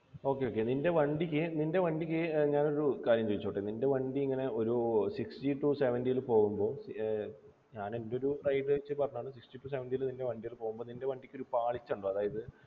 okay okay നിൻ്റെ വണ്ടിക്ക് നിൻ്റെ വണ്ടിക്ക് ഞാനൊരു കാര്യം ചോയ്ക്കോട്ടെ നിൻ്റെ വണ്ടി ഇങ്ങനെ ഒരു sixty to seventy ല് പോകുമ്പോ ഏർ ഞാൻ എൻ്റെ ഒരു ride വച്ച് പറഞ്ഞതാണ് sixty to seventy ല് നിൻ്റെ വണ്ടി പോകുമ്പോ നിൻ്റെ വണ്ടിക്ക് ഒരു പാളിച്ചയുണ്ടോ അതായത്